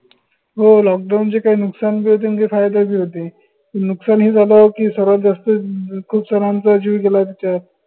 हो lockdown चे काही नुकसान बी होते आणि काही फायदे बी होते. नुकसान हे झालं की सर्वात जास्त खूप जणांचा जेव गेला त्याचायत